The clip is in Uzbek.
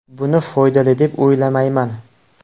Buni foydali deb o‘ylamayman.